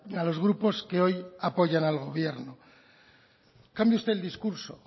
a los grupos que hoy apoyan al gobierno cambie usted el discurso